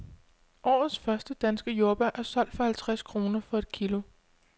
Årets første danske jordbær er solgt for halvtreds kroner for et kilo.